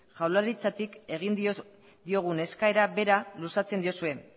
jaurlaritzatik egin diogun eskaera bera luzatzen diozue